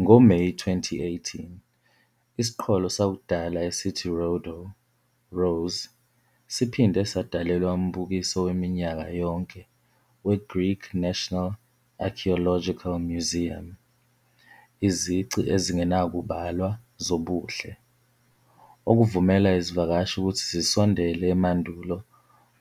NgoMeyi 2018, isiqholo sakudala esithi "Rodo", Rose, siphinde sadalelwa umbukiso weminyaka yonke weGreek National Archaeological Museum "Izici Ezingenakubalwa Zobuhle", okuvumela izivakashi ukuthi zisondele emandulo